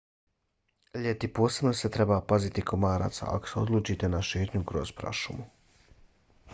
ljeti posebno se trebate paziti komaraca ako se odlučite na šetnju kroz prašumu